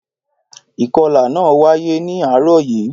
Ìkọlà náà wáyé ní àárọ̀ yìí